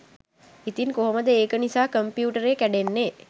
ඉතින් කොහොමද ඒක නිසා කොම්පියුටරේ කැඩෙන්නේ